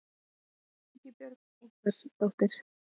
Ingibjörg einhvers dóttir.